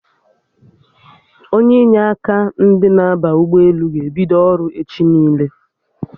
Onye inye aka ndị na-aba ụgbọelu ga-ebido ọrụ echi niile